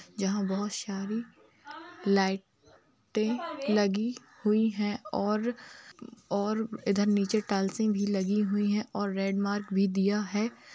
जहाँ बहुत सारी लाईटे लगी हुई हैं और और इधर नीचे टाइलसिंग भी लगी हुई हैं और रेड मार्क भी दिया है।